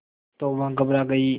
तो वह घबरा गई